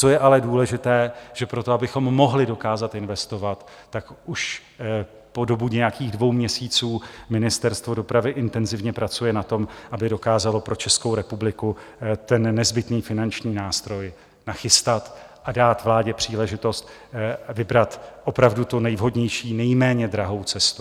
Co je ale důležité, že pro to, abychom mohli dokázat investovat, tak už po dobu nějakých dvou měsíců Ministerstvo dopravy intenzivně pracuje na tom, aby dokázalo pro Českou republiku ten nezbytný finanční nástroj nachystat a dát vládě příležitost vybrat opravdu tu nejvhodnější, nejméně drahou cestu.